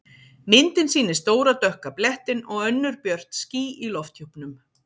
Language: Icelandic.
Myndin sýnir stóra dökka blettinn og önnur björt ský í lofthjúpnum.